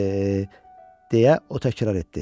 E, deyə o təkrar etdi.